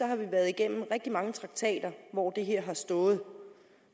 har vi været igennem rigtig mange traktater hvor det her har stået